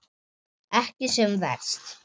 Ekki sem verst?